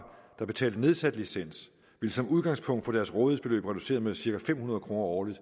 der betalte nedsat licens som udgangspunkt få deres rådighedsbeløb reduceret med cirka fem hundrede kroner årligt